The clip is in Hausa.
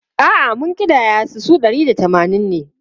A’a, mun ƙidaya su, su ɗari da tamanin ne.